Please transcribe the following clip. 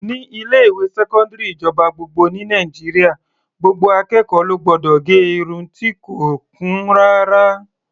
Ní ilé-ìwé sẹkọndiri ìjọba gbogbo ní Nàìjíríà, gbogbo akẹ́kọ̀ọ́ ló gbọdọ̀ gẹ irun ti kò kún rárá.